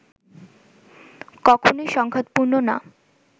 কখনেই সংঘাত পূর্ণ না